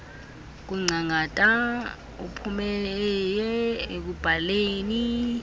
kungcangata uphumeieie ekubhaleni